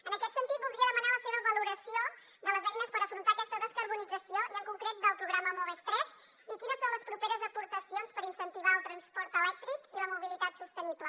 en aquest sentit voldria demanar la seva valoració de les eines per afrontar aquesta descarbonització i en concret del programa moves iii i quines són les properes aportacions per incentivar el transport elèctric i la mobilitat sostenible